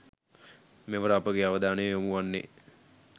මෙවර අපගේ අවධානය යොමු වන්නේ